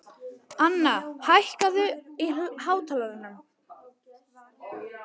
Anna, hækkaðu í hátalaranum.